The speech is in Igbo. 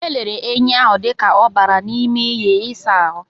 E lere enyi ahụ dịka ọ bara n'ime iyi ịsa ahụ.